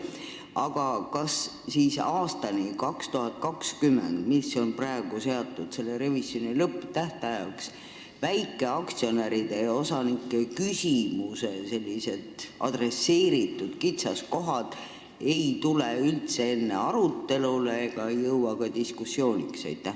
Aga kas siis aastani 2020, mis on praegu seatud selle revisjoni lõpptähtajaks, ei tule väikeaktsionäride ja -osanike väljatoodud kitsaskohad üldse arutelule?